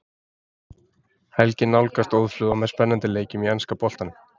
Helgin nálgast óðfluga með spennandi leikjum í enska boltanum.